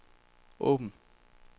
åbn